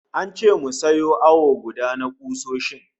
An ce mu sayo awo guda na kusoshin